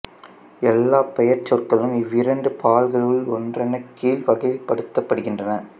எல்லாப் பெயர்ச் சொற்களும் இவ்விரண்டு பால்களுள் ஒன்றன் கீழ் வகைப்படுத்தப்படுகின்றன